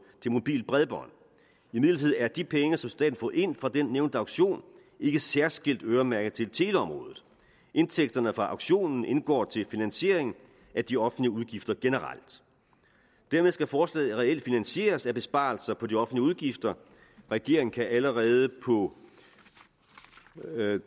til mobilt bredbånd imidlertid er de penge som staten har fået ind fra den nævnte auktion ikke særskilt øremærket til teleområdet indtægterne fra auktionen indgår til finansiering af de offentlige udgifter generelt dermed skal forslaget reelt finansieres af besparelser på de offentlige udgifter regeringen kan allerede på